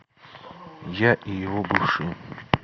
я и его бывшие